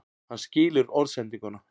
Hann skilur orðsendinguna.